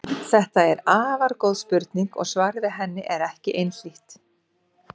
Þetta er afar góð spurning og svarið við henni er ekki einhlítt.